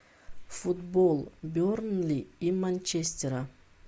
футбол бернли и манчестера